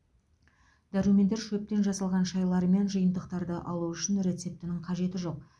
дәрумендер шөптен жасалған шайлар мен жиынтықтарды алу үшін рецептінің қажеті жоқ